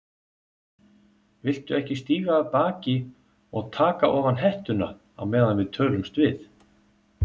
Viltu ekki stíga af baki og taka ofan hettuna á meðan við tölumst við?